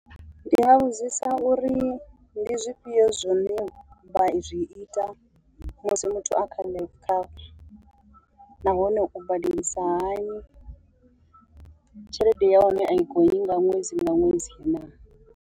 Ndi nga vhudzisa uri ndi zwifhio zwine vha zwi ita musi muthu a kha life cover, nahone u badelisa hani, tshelede ya hone a i gonyi nga ṅwedzi nga ṅwedzi naa.